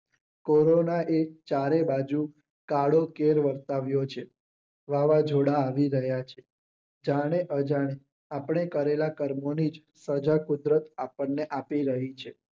કોરોને ચારેબાજુ કાળેકેર વરસાવ્યો છે. વાવાજોડા આવી ગયા છે. ક્યારેક અજાણ આપણે કરેલા કર્મોનિજ સજા કુદરત આપણને આપી રહી છે.